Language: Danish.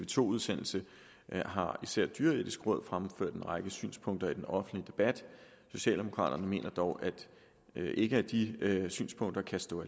to udsendelse har især det dyreetiske råd fremført en række synspunkter i den offentlige debat socialdemokraterne mener dog ikke at de synspunkter kan stå